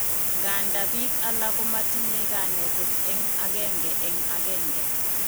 Nganda bik alak komatinye kanetet en agenge en agenge